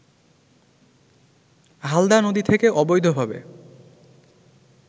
হালদা নদী থেকে অবৈধভাবে